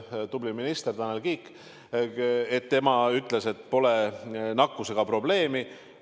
Et tubli minister Tanel Kiik ütles, et pole nakkusega probleemi.